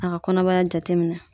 A ka kɔnɔbaya jate minɛ.